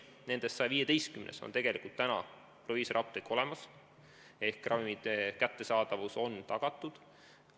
Nendest 115-s on proviisorapteek olemas ehk ravimite kättesaadavus on tagatud.